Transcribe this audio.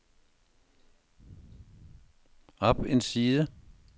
op en side